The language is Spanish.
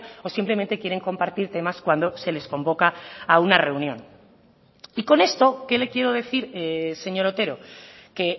o simplemente quieren compartir temas cuando se les convoca a una reunión y con esto qué le quiero decir señor otero que